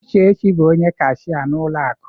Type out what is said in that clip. Uchechi bụ onye kashia n'ụlọ akụ.